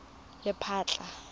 lephatla